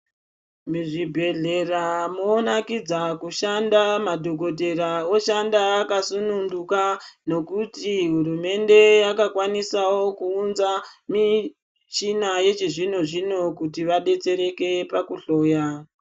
Muzvibhehlera munonakidza kushanda madhokodheya oshanda akasununguka ngekuti hurumende yakakwanisawo kuunza michina yechizvino zvino kuti vadetsereke pakuhloya.